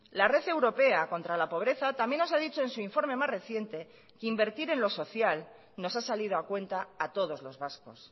la red europea contra la pobreza también nos ha dicho en su informe más reciente que invertir en lo social nos ha salido a cuenta a todos los vascos